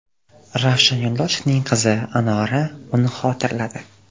Ravshan Yo‘ldoshevning qizi Anora uni xotirladi.